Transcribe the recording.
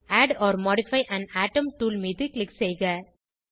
add or modify an atom tool மீது click செய்க